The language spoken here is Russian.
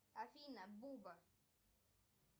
афина буба